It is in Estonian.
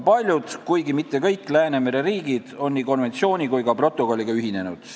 Paljud Läänemere riigid, kuigi mitte kõik, on nii konventsiooni kui ka protokolliga ühinenud.